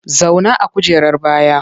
Zauna a kujerar baya!